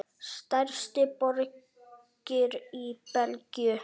Stærstu borgir í Belgíu